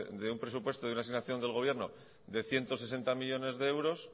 de un presupuesto de una asignación del gobierno de ciento sesenta millónes de euros